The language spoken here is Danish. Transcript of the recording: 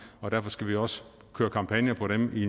og derfor skal vi også køre kampagner på dem i